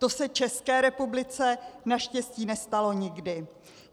To se České republice naštěstí nestalo nikdy.